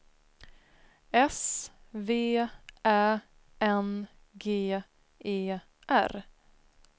S V Ä N G E R